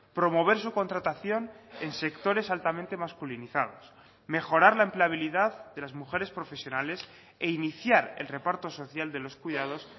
promover su contratación en sectores altamente masculinizados mejorar la empleabilidad de las mujeres profesionales e iniciar el reparto social de los cuidados